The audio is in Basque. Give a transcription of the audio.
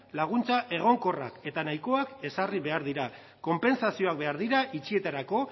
laguntza egonkorrak eta nahikoak ezarri behar dira konpentsazioak behar dira itxietarako